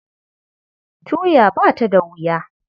Tuya ba ta da wuya.